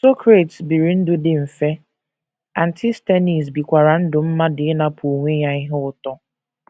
Socrates biri ndụ dị mfe, Antisthenes bikwara ndụ mmadụ ịnapụ onwe ya ihe ụtọ.